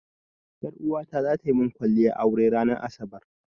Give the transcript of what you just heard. Ƴaruwata zata min kwalliyar aure na ranan asabar.